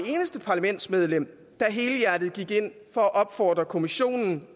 eneste parlamentsmedlem der helhjertet gik ind for at opfordre kommissionen